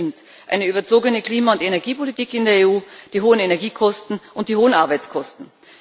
Das sind eine überzogene Klima und Energiepolitik in der EU, die hohen Energiekosten und die hohen Arbeitskosten.